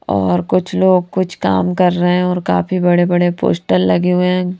और कुछ लोग कुछ काम कर रहे हैं और काफी बड़े बड़े पोस्टर लगे हुए हैं।